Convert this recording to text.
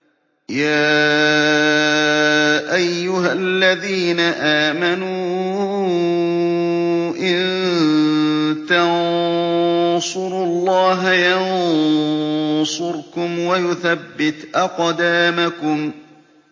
يَا أَيُّهَا الَّذِينَ آمَنُوا إِن تَنصُرُوا اللَّهَ يَنصُرْكُمْ وَيُثَبِّتْ أَقْدَامَكُمْ